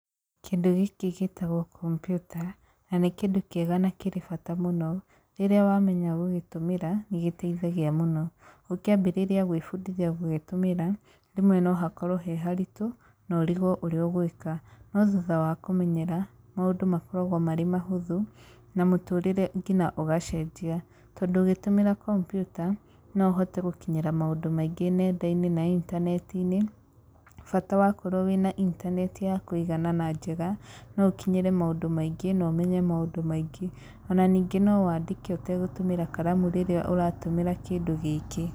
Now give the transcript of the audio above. Kĩndũ gĩkĩ gĩtagwo kompiuta, na nĩ kĩndũ kĩega na kĩrĩ bata mũno, rĩrĩa wamenya gũgĩtũmĩra nĩ gĩteithagia mũno. Ũkĩambĩrĩrĩa gwĩbundithia gũgĩtũmĩra, rĩmwe no hakorwo he haritũ no ũrigwo ũrĩa ũgwĩka. No thutha wa kũmenyera, maũndũ makoragwo marĩ mahũthũ, na mũtũrĩre nginya ũgacenjia. Tondũ ũgĩtũmĩra kompiuta no ũhote gũkinyĩra maũndũ maingĩ nenda-inĩ na intaneti-inĩ bata wakorwo wĩna intaneti ya kũigana na njega, no ũkinyĩre maũndũ maingĩ no ũmenye maũndũ maingĩ. Ona ningĩ no wandĩke ũtegũtũmĩra karamu rĩrĩa ũratũmĩra kĩndũ gĩkĩ.